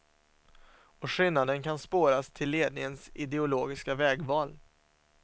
Och skillnaden kan spåras till ledningens ideologiska vägval.